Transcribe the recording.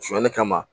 Sonyali kama